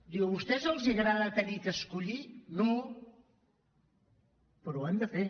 diu a vostès els agrada haver d’escollir no però ho hem de fer